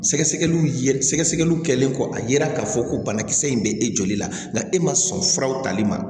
Sɛgɛsɛgɛliw ye sɛgɛsɛgɛliw kɛlen kɔ a yera k'a fɔ ko banakisɛ in bɛ e joli la nga e man sɔn furaw tali ma